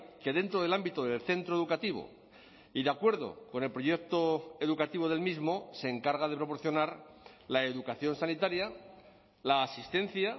que dentro del ámbito del centro educativo y de acuerdo con el proyecto educativo del mismo se encarga de proporcionar la educación sanitaria la asistencia